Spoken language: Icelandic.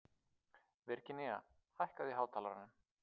Virginía, hækkaðu í hátalaranum.